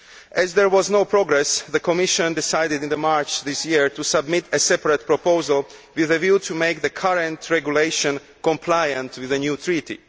As there was no progress, the Commission decided in March this year to submit a separate proposal with a view to making the current regulation compliant with the new Treaty.